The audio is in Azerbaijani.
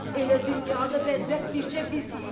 Elə dünyada bədbəxt bircə bizik?